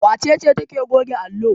Wace ce take goge allo?